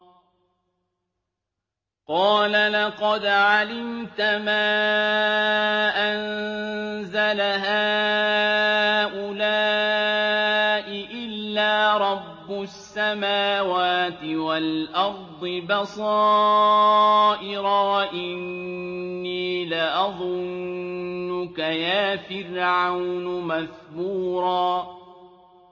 قَالَ لَقَدْ عَلِمْتَ مَا أَنزَلَ هَٰؤُلَاءِ إِلَّا رَبُّ السَّمَاوَاتِ وَالْأَرْضِ بَصَائِرَ وَإِنِّي لَأَظُنُّكَ يَا فِرْعَوْنُ مَثْبُورًا